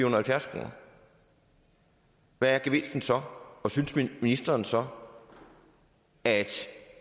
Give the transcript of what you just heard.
og halvfjerds kroner hvad er gevinsten så og synes ministeren så at